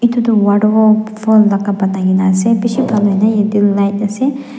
etu tu waterfall laka banai kena ase light ase.